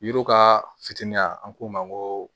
Yiri ka fitini an k'o ma ko